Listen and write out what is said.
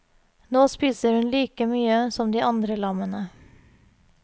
Nå spiser hun like mye som de andre lammene.